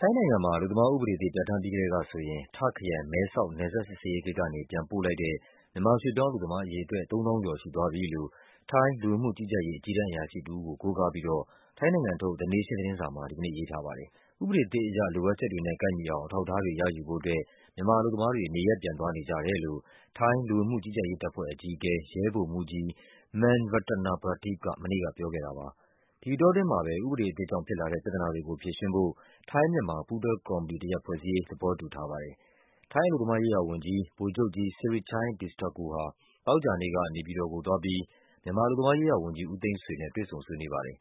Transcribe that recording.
ထိုင်းနိုင်ငံမှာ အလုပ်သမားဥပဒေသစ် ပြဌာန်းပြီးကတည်းကဆိုရင် တာ့ခ်ခရိုင်၊ မဲဆောက် နယ်စပ်စစ်ဆေးရေး ဂိတ်ကနေ ပြန်ပို့ လိုက်တဲ့ မြန်မာရွှေ့ပြောင်း အလုပ်သမားအရေ အတွက် ၃ သောင်းကျော် ရှိသွားပြီလို့ ထိုင်း လူဝင်မှုကြီးကြပ်ရေး အကြီးတန်း အရာရှိ တဦးကို ကိုးကားပြီးတော့ ထိုင်းနိုင်ငံထုတ် The Nation သတင်းစာမှာ ဒီနေ့ရေးထား ပါတယ်။ ဥပဒေအသစ်အရ လိုအပ်ချက်တွေနဲ့ ကိုက်ညီအောင် အထောက်အထားတွေ ရယူဖို့ အတွက် မြန်မာအလုပ်သမားတွေ နေရပ် ပြန် သွားနေကြတယ်လို့ ထိုင်းလူဝင်မှု ကြီးကြပ်ရေး တပ်ဖွဲ့အကြီးအကဲ ရဲဗိုလ်မှူးကြီး Man Ratanaprateep က မနေ့က ပြောခဲ့တာပါ။ ဒီအတောအတွင်းမှာပဲ ဥပဒေအသစ်ကြောင့် ဖြစ်လာတဲ့ ပြဿနာတွေကိုဖြေရှင်းဖို့ ထိုင်း-မြန်မာ ပူးတွဲကော်မတီတရပ် ဖွဲ့စည်းရေး သဘောတူထားပါတယ်။ ထိုင်း အလုပ်သမားရေးရာဝန်ကြီး ဗိုလ်ချုပ်ကြီး Sirichai Distakul ဟာ သောကြာနေ့က နေပြည်တော်ကိုသွားပြီး မြန်မာ အလုပ် သမားရေးရာဝန်ကြီး ဦးသိန်းဆွေနဲ့ တွေ့ဆုံ ဆွေးနွေးပါတယ်။